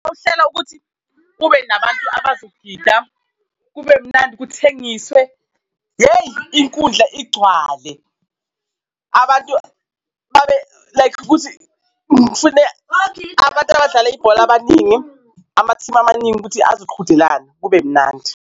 Uhlela ukuthi kube nabantu abazogida, kube mnandi, kuthengiswe, hheyi, inkundla igcwale. Abantu babe like kuthi ngifune abantu abadlala ibhola, abaningi amathimu amaningi ukuthi azoqhudelana, kube mnandi.